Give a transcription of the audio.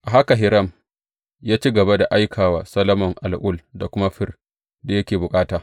A haka Hiram ya ci gaba da aika wa Solomon al’ul da kuma fir da yake bukata.